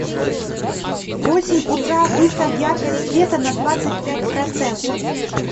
в восемь утра выставь яркость света на двадцать пять процентов